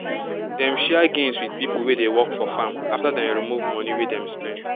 dem share gains with pipo wey dey work for farm after dem remove money wey dem spend